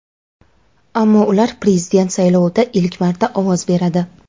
ammo ular prezident saylovida ilk marta ovoz beradi.